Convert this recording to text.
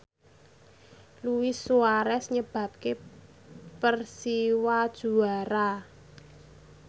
Luis Suarez nyebabke Persiwa juara